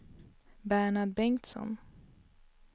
Bernhard Bengtsson